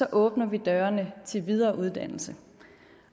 åbner vi dørene til videre uddannelse